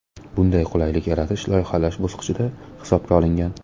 Bunday qulaylik yaratish loyihalash bosqichida hisobga olingan.